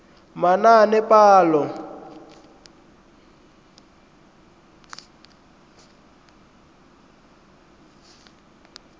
manaanepalo